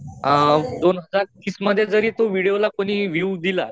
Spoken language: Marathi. अअ दोनहजार तीस मध्ये जरी तो व्हिडिओला कोणी विव दिला